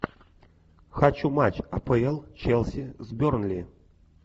хочу матч апл челси с бернли